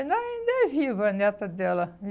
Ainda ainda é viva a neta dela.